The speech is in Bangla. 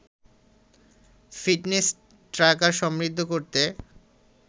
ফিটনেস ট্র্যাকার সমৃদ্ধ করতে